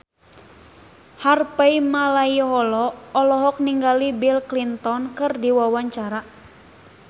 Harvey Malaiholo olohok ningali Bill Clinton keur diwawancara